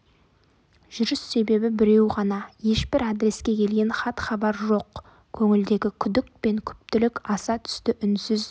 жүріс себебі біреу ғана ешбір адреске келген хат-хабар жоқ көңілдегі күдік пен күптілік аса түсті үнсіз